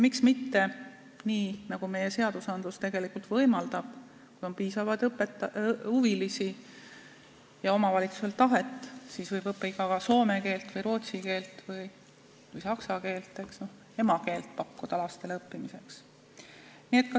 Miks mitte nii, nagu meie seadused tegelikult võimaldavad, et kui on piisavalt huvilisi ja omavalitsusel on tahet, siis võib nii õppida ka soome, rootsi või saksa keelt, pakkuda lastele õppimiseks emakeelt.